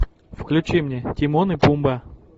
включи мне тимон и пумба